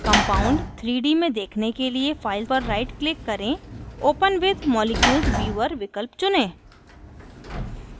compound 3 D में देखने के लिए file पर right click करें open with molecules viewer विकल्प चुनें